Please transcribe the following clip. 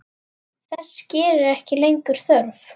Þess gerist ekki lengur þörf.